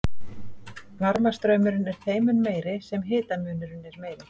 varmastraumurinn er þeim mun meiri sem hitamunurinn er meiri